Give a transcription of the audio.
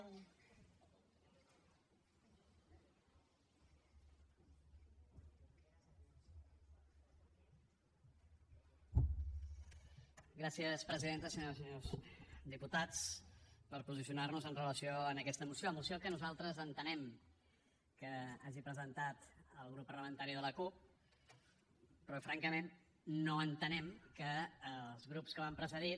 senyores i senyors diputats per posicionar nos amb relació a aquesta moció moció que nosaltres entenem que hagi presentat el grup parlamentari de la cup però francament no entenem que els grups que m’han precedit